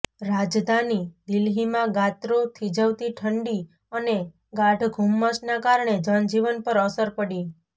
રાજધાની દિલ્હીમાં ગાત્રો થિજવતી ઠંડી અને ગાઢ ધુમ્મસના કારણે જનજીવન પર અસર પડી